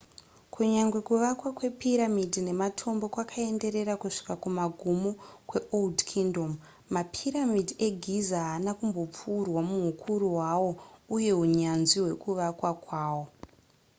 kunyangwe kuvakwa kwepiramidhi nematombo kwakaenderera kusvika kumagumo kweold kingdom mapiramidhi egiza haana kumbopfuurwa muhukuru hwawo uye hunyanzvi hwekuvakwa kwawo